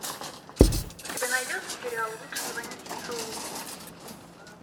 у тебя найдется сериал лучше звоните солу